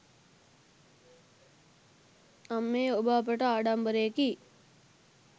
අම්මේ ඔබ අපට ආඩම්බරයෙකි.